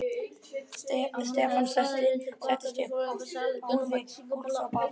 Stefán settist upp og þáði gúlsopa af landanum.